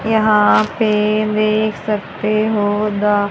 यहां पे देख सकते हो द--